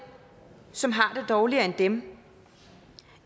som har det dårligere end dem